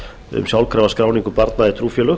um sjálfkrafa skráningu barna í trúfélög